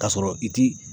K'a sɔrɔ i ti